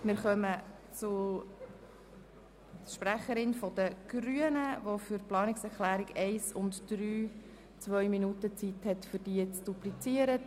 Wir kommen zur Sprecherin der Grünen, die für die Planungserklärungen 1 und 3 zwei Minuten Redezeit hat, um sie zu duplizieren.